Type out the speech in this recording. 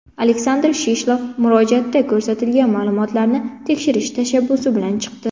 Aleksandr Shishlov murojaatda ko‘rsatilgan ma’lumotlarni tekshirish tashabbusi bilan chiqdi.